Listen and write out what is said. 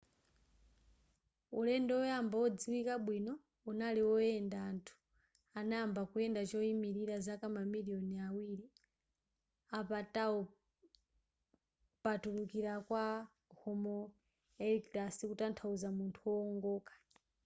ulendo oyamba odziwika bwino unali oyenda anthu anayamba kuyenda choyimilira zaka mamiliyoni awiri apatawo pakutulukira kwa homo erectus kutanthauza munthu wowongoka